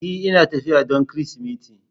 E, Ina tafiya don Kirsimeti.